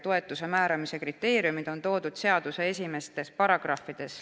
Toetuse määramise kriteeriumid on toodud seaduse esimestes paragrahvides.